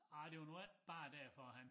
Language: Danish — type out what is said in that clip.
Arh det var nu ikke bare derfor han